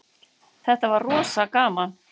Þetta var rosa gaman.